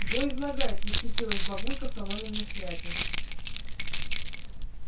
во излагает восхитилась бабулька в соломенной шляпе